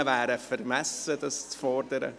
Wie man hört, wäre es vermessen, dies zu fordern.